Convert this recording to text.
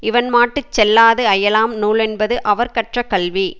இவன் மாட்டு செல்லாது அயலாம் நூலென்பது அவர் கற்ற கல்வி